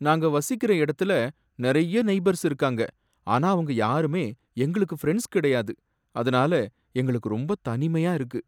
நாங்க வசிக்கிற எடத்துல நிறைய நெய்பர்ஸ் இருக்காங்க, ஆனா அவங்க யாருமே எங்களுக்கு ஃப்ரென்ட்ஸ் கிடையாது, அதுனால எங்களுக்கு ரொம்ப தனிமையா இருக்கு.